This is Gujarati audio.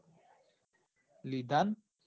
લીધા ન